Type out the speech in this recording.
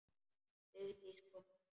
Vigdís kom aftur.